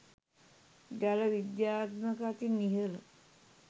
ජල විද්‍යාත්මක අතින් ඉහළ